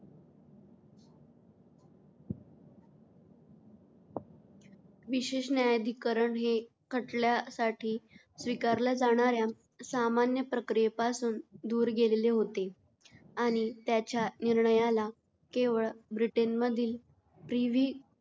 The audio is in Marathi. विशेष न्यायाधिकरण हे खटल्यासाठी स्वीकारल्या जाणार्‍या सामान्य प्रक्रियेपासून दूर गेलेले होते आणि त्याच्या निर्णयाला केवळ ब्रिटनमधील प्रिव्ही